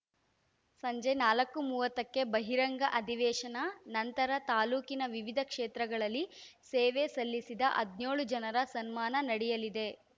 ಸಂಜೆ ನಾಲ್ಕು ಮೂವತ್ತಕ್ಕೆ ಬಹಿರಂಗ ಅಧಿವೇಶನ ನಂತರ ತಾಲೂಕಿನ ವಿವಿಧ ಕ್ಷೇತ್ರಗಳಲ್ಲಿ ಸೇವೆ ಸಲ್ಲಿಸಿದ ಹದಿನ್ಯೋಳು ಜನರ ಸನ್ಮಾನ ನಡೆಯಲಿದೆ